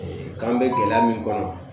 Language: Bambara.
k'an bɛ gɛlɛya min kɔnɔ